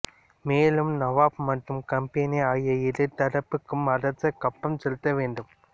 மேலும் நவாப் மற்றும் கம்பெனி ஆகிய இரு தரப்புக்கும் அரசர் கப்பம் செலுத்த வேண்டும்